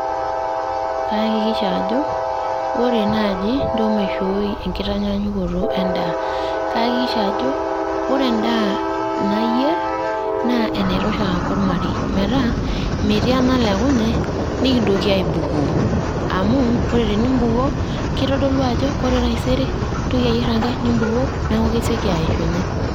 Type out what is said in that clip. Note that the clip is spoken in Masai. Kayakikisha ajo ore naaji ntoo maishoi enkitaanyanyukoto e nd`aa. Kayakikisha ajo ore endaa nayier naa enaitosha ake olmarei, metaa metiii enalekunye nikintoki aibukoo. Amu ore teni bukoo keitodolu ajo ore taisere intoki ayier enkae nibukoo niaku kesioki aishunye.